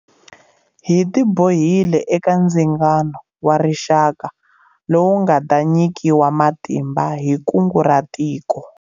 Hi tibohile eka Ndzingano wa Rixaka lowu nga ta nyikiwa matimba hi Kungu ra Tiko.